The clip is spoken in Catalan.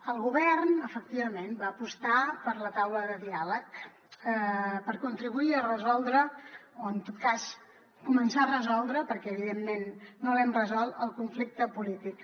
el govern efectivament va apostar per la taula de diàleg per contribuir a resoldre o en tot cas començar a resoldre perquè evidentment no l’hem resolt el conflicte polític